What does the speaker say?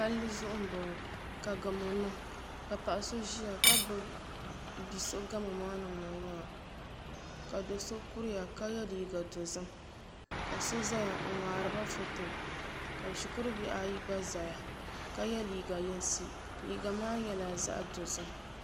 Palli zuɣu n boŋo ka gamo niŋ ka paɣa so ʒiya ka gbubi bia so gamo ŋo ni niŋ ŋo ka do so kuriya ka yɛ liiga dozim ka so kuriya n ŋmaariba foto ka shikuru bihi ayi gba ʒɛya ka yɛ liiga yinsi liiga maa nyɛla zaɣ dozim